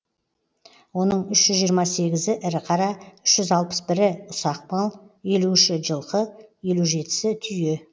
оның үш жүз жиырма сегізі ірі қара үш жүз алпыс бірі ұсақ мал елу үші жылқы елу жетісі түйе